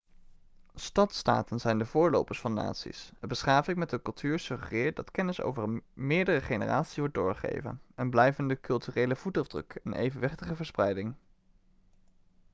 stadstaten zijn de voorlopers van naties een beschaving met een cultuur suggereert dat kennis over meerdere generaties wordt doorgegeven een blijvende culturele voetafdruk en evenwichtige verspreiding